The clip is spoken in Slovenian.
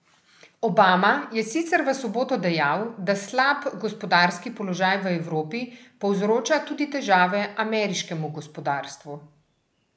Obama je sicer v soboto dejal, da slab gospodarski položaj v Evropi povzroča tudi težave ameriškemu gospodarstvu.